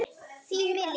Þín Millý.